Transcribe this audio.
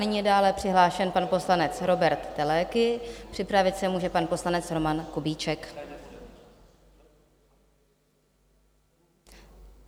Nyní je dále přihlášen pan poslanec Róbert Teleky, připravit se může pan poslanec Roman Kubíček.